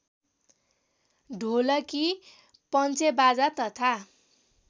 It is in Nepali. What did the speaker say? ढोलकी पन्चेबाजा तथा